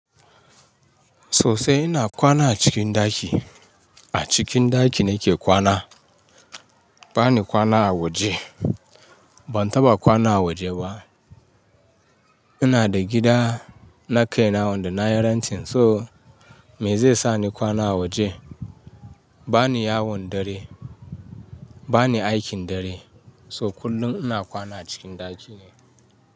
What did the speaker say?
Sosai ina kwana a cikin ɗaki. A cikin ɗaki nake kwana. Bani kwana a waje. Ban taɓa kwana a waje ba. Ina da gida na kai na wanda na yi renting so mai zai sa ni kwana a waje? Bani yawon dare, bani aikin dare, so kullum ina kwana cikin ɗaki ne.